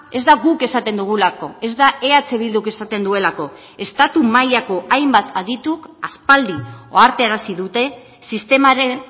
ez da guk esaten dugulako ez da eh bilduk esaten duelako estatu mailako hainbat adituk aspaldi ohartarazi dute sistemaren